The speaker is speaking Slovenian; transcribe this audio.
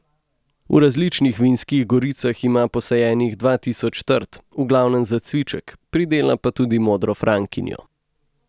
V različnih vinskih goricah ima posajenih dva tisoč trt, v glavnem za cviček, pridela pa tudi modro frankinjo.